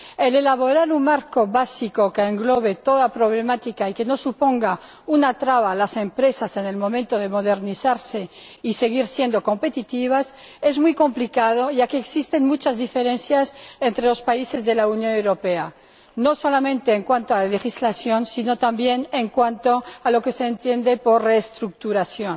La elaboración de un marco básico que englobe toda problemática y que no suponga una traba para las empresas en el momento de modernizarse y seguir siendo competitivas es muy complicada, ya que existen muchas diferencias entre los países de la Unión Europea, no solamente en cuanto a legislación sino también en cuanto a lo que se entiende por reestructuración.